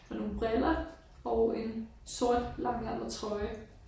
Og nogle briller og en sort langærmet trøje